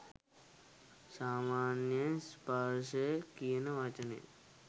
සාමාන්‍යයෙන් ස්පර්ශය කියන වචනය